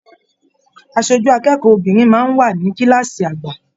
Aṣojú akẹ́kọ̀ọ́ obinrin máa n wà ní kilaasi àgbà.